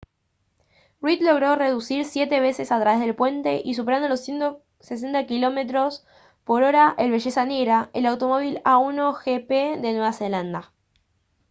reid logró conducir siete veces a través del puente y superando los 160 km/h el belleza negra el automóvil a1gp de nueva zelanda